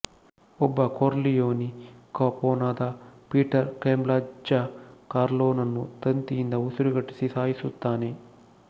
ಒಬ್ಬ ಕೊರ್ಲಿಯೋನಿ ಕಪೊನಾದ Peter Clemenza ಕಾರ್ಲೊನನ್ನು ತಂತಿಯಿಂದ ಉಸಿರುಗಟ್ಟಿಸಿ ಸಾಯಿಸುತ್ತಾನೆ